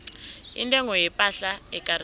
intengo yepahla ekarisako